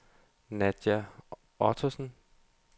Nadja Ottesen